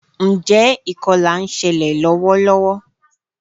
Njé ìkolà nselè lówó lówó?